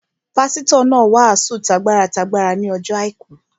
Pásítọ̀ náà wàásù t'agbára t'agbára ní ọjọ́ àìkú